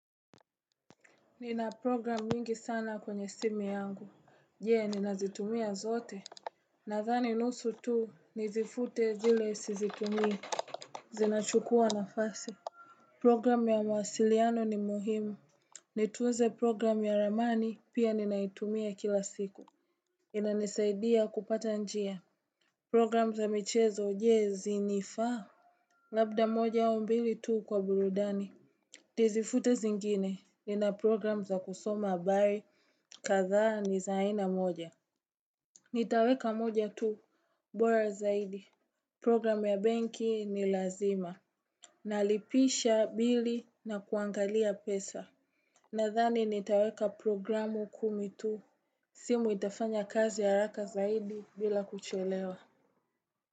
Nina program mingi sana kwenye simu yangu, je ninazitumia zote? Nathani nusu tu nizifute zile sizitumii Zinachukua nafasi Program ya mawasiliano ni muhimu Nitunze program ya ramani pia ninaitumia kila siku inanisaidia kupata njia Program za michezo jee zinifaa Labda moja au mbili tu kwa burudani Tizifute zingine ni na program za kusoma habari kadhaa ni zaina moja Nitaweka moja tu, bora zaidi Program ya benki ni lazima Nalipisha mbili na kuangalia pesa Nadhani nitaweka programu kumi tu simu itafanya kazi haraka zaidi bila kuchelewa.